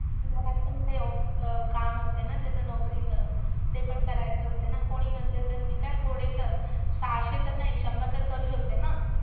घरात पण ते अं काम असते ना त्याच्या नोकरीचं. ते पण करायचं असते ना, कोणी नसेल तर मी काय थोडे तर, सहाशे तर नाही शंभर तर करू शकते ना?